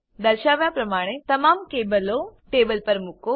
દર્શાવ્યા પ્રમાણે તમામ કેબલો ટેબલ પર મુકો